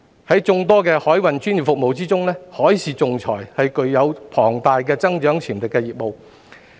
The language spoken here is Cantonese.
在眾多的海運專業服務業中，海事仲裁是具有龐大增長潛力的業務。